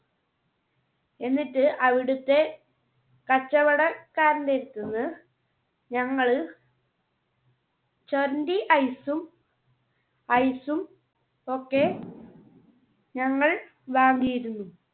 എന്നിട്ട് അവിടുത്തെ കച്ചവടക്കാരന്റെ അടുത്ത് നിന്ന് ഞങ്ങൾ ചൊരണ്ടി Ice ഉം ice ഉം ഒക്കെ ഞങ്ങൾ വാങ്ങിയിരുന്നു.